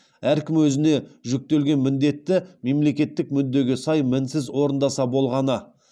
әркім өзіне жүктелген міндетті мемлекеттік мүддеге сай мінсіз орындаса болғаны